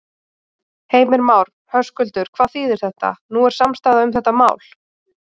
Heimir Már: Höskuldur, hvað þýðir þetta, nú er samstaða um þetta mál?